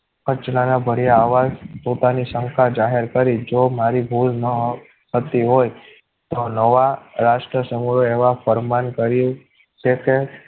પંચનાણા ભર્યા આવા પોતાની શંકા જાહેર કરી જો મારી ભૂલ ન થતી હોય તો નવા રાષ્ટ્ર સમૂહ એવા પરમાન કર્યું છે કે